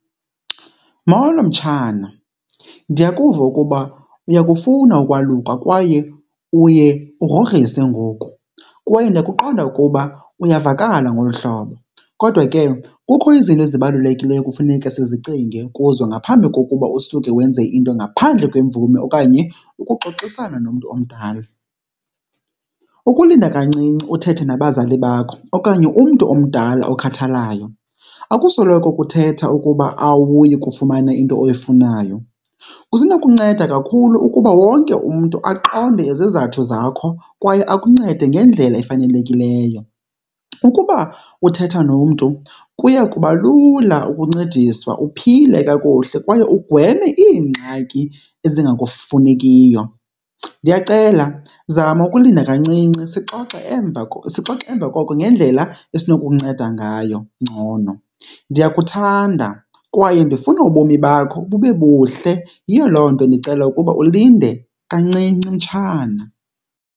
Molo mtshana, ndiyakuva ukuba uyakufuna ukwaluka kwaye uye ugrogrise ngoku kwaye ndiyakuqonda ukuba uyavakala ngolu hlobo, kodwa ke kukho izinto ezibalulekileyo ekufuneka sizicinge kuzo ngaphambi kokuba usuke wenze into ngaphandle kwemvume okanye ukuxoxisana nomntu omdala. Ukulinda kancinci uthethe nabazali bakho okanye umntu omdala okhathalayo akusoloko kuthetha ukuba awuyi kufumana into oyifunayo, kusenokunceda kakhulu ukuba wonke umntu aqonde izizathu zakho kwaye akuncede ngendlela efanelekileyo. Ukuba uthetha nomntu kuya kuba lula ukuncediswa uphile kakuhle kwaye ugweme iingxaki ezingakufunekiyo. Ndiyacela zama ukulinda kancinci sixoxe emva , sixoxe emva koko ngendlela esinokukunceda ngayo ngcono. Ndiyakuthanda kwaye ndifuna ubomi bakho bube buhle, yiyo loo nto ndicela ukuba ulinde kancinci mtshana.